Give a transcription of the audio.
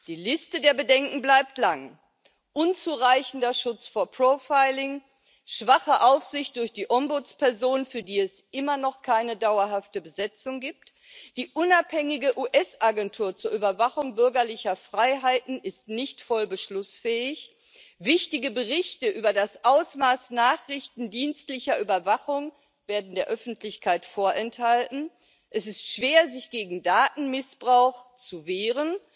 Die Liste der Bedenken bleibt lang unzureichender Schutz vor Profiling, schwache Aufsicht durch die Ombudsperson, für die es immer noch keine dauerhafte Besetzung gibt, die unabhängige US Agentur zur Überwachung bürgerlicher Freiheiten ist nicht voll beschlussfähig, wichtige Berichte über das Ausmaß nachrichtendienstlicher Überwachung werden der Öffentlichkeit vorenthalten, es ist schwer, sich gegen Datenmissbrauch zu wehren,